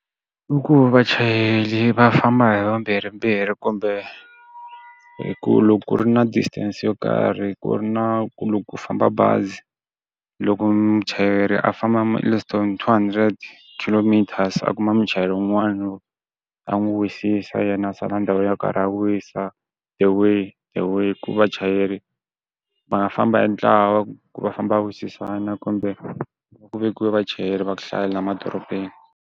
I ku vachayeri va famba hi vambirhimbirhi kumbe ku loko ku ri na distance yo karhi ku ri na ku famba bazi loko muchayeri a famba less than two hundred kilometers a kuma muchayeri wun'wana a n'wi wisisa yena a sala ndhawu yo karhi a wisa the way hi ku vachayeri va nga famba hi ntlawa ku va famba a wisisana kumbe ku vekiwa vachayeri va ku hlayela emadorobeni.